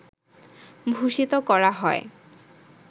ভূষিত করা হয়